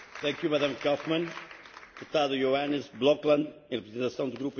Voorzitter, dit Huis komt op voor burgerlijke vrijheden.